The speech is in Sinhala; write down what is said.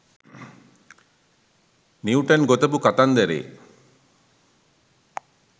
නිවුටන් ගොතපු කතන්දරේ.